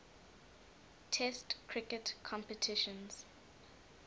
test cricket competitions